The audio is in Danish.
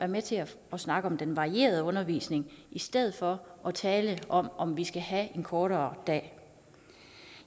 med til at snakke om den varierede undervisning i stedet for at tale om om vi skal have en kortere dag